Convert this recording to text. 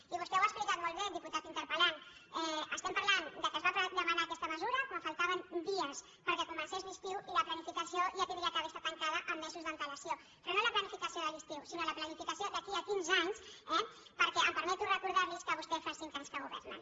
i vostè ho ha explicat molt bé diputat interpel·lant estem parlant que es va demanar aquesta mesura quan faltaven dies perquè comencés l’estiu i la planificació ja hauria d’ha·ver estat tancada amb mesos d’antelació però no la planificació de l’estiu la planificació d’aquí a quinze anys eh perquè em permeto recordar·los que vostès fa cinc anys que governen